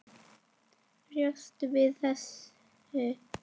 Bjóstu við þessu?